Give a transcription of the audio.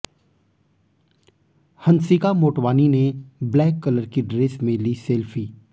हंसिका मोटवानी ने black colour की dress में ली सेल्फी